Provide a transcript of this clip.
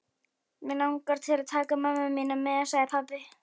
Mig langar til að taka mömmu þína með sagði pabbi.